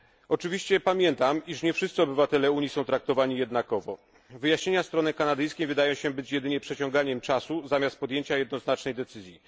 Oczywiście pamiętam, iż nie wszyscy obywatele Unii są traktowani jednakowo. Wyjaśnienia strony kanadyjskiej wydają się być jedynie przeciąganiem czasu zamiast podjęcia jednoznacznej decyzji.